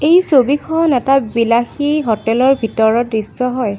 এই ছবিখন এটা বিলাসী হোটেল ৰ ভিতৰৰ দৃশ্য হয়।